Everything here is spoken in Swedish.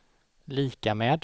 lika med